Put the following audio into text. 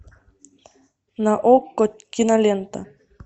на окко кинолента